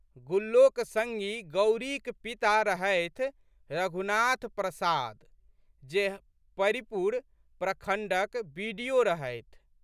गुल्लोक संगी गौरीक पिता रहथि रघुनाथ प्रसाद जे परिपुर प्रखण्डक बि.डि.ओ.रहथि।